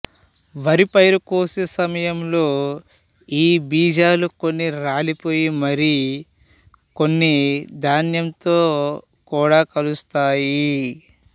వరి పైరు కోసే సమయంలో ఈ బీజాలు కొన్ని రాలిపోయి మరి కొన్ని ధాన్యంతో కూడా కలుస్తాయి